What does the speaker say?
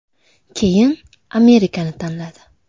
Keyin Amerikani tanladi.